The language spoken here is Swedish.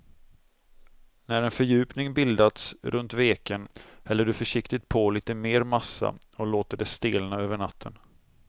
När en fördjupning bildats runt veken häller du försiktigt på lite mer massa och låter det stelna över natten.